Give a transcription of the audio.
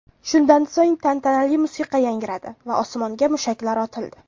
Shundan so‘ng, tantanali musiqa yangradi va osmonga mushaklar otildi.